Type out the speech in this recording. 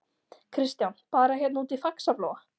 Kristján: Bara hérna úti í Faxaflóa?